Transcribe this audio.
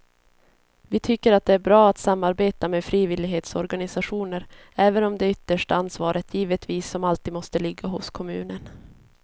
Vi tycker att det är bra att samarbeta med frivillighetsorganisationer även om det yttersta ansvaret givetvis som alltid måste ligga hos kommunen.